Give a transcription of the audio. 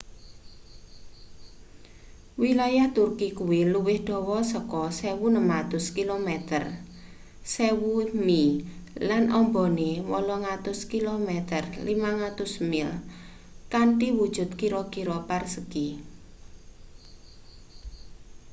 wilayah turki kuwi luwih dawa saka 1.600 kilometer 1,000 mi lan ambane 800 km 500 mil kanthi wujut kira-kira persagi